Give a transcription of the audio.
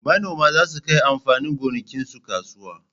Manoma za su kai amfanin gonakinsu kasuwa